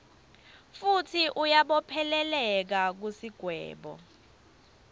futsi uyabopheleleka kusigwebo